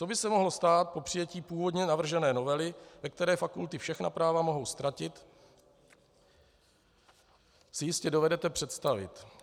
Co by se mohlo stát po přijetí původně navržené novely, ve které fakulty všechna práva mohou ztratit, si jistě dovedete představit.